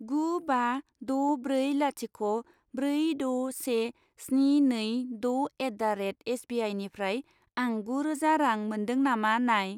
गु बा द' ब्रै लाथिख' ब्रै द' से स्नि नै द' एट दा रेड एसबिआइनिफ्राय आं गुरोजा रां मोन्दों नामा नाय।